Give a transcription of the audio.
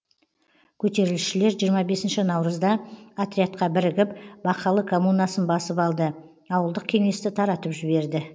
көтерілісшілер жиырма бесінші наурызда отрядқа бірігіп бақалы коммунасын басып алды ауылдық кеңесті таратып жіберді